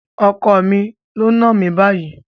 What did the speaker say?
Ọkọ mi ló náà mi báyìí.